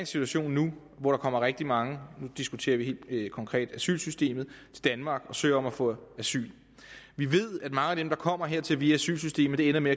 situation nu hvor der kommer rigtig mange og nu diskuterer vi helt konkret asylsystemet til danmark og søger om at få asyl vi ved at mange af dem der kommer hertil via asylsystemet ender med